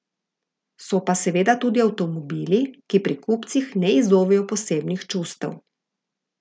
So pa seveda tudi avtomobili, ki pri kupcih ne izzovejo posebnih čustev.